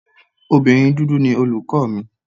Obìnrin dúdú ni olùkọ́ mi.